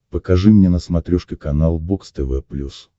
покажи мне на смотрешке канал бокс тв плюс